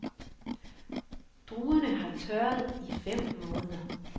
Druerne har tørret i fem måneder.